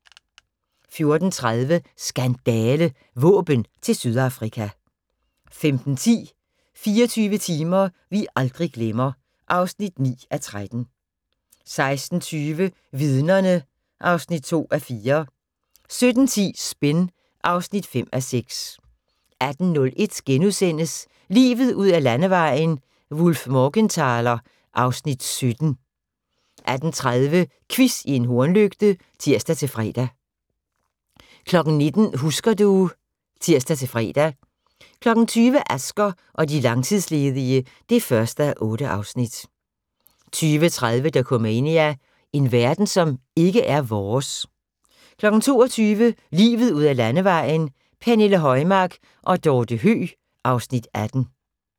14:30: Skandale – Våben til Sydafrika 15:10: 24 timer vi aldrig glemmer (9:13) 16:20: Vidnerne (2:4) 17:10: Spin (5:6) 18:01: Livet ud ad landevejen: Wullf/Morgenthaler (Afs. 17)* 18:30: Quiz i en hornlygte (tir-fre) 19:00: Husker du ... (tir-fre) 20:00: Asger og de langtidsledige (1:8) 20:30: Dokumania: En verden som ikke er vores 22:00: Livet ud ad landevejen: Pernille Højmark og Dorthe Høeg (Afs. 18)